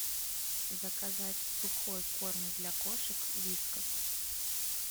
заказать сухой корм для кошек вискас